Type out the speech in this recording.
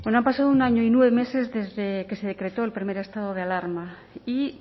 han pasado un año y nueve meses desde que se decretó el primer estado de alarma y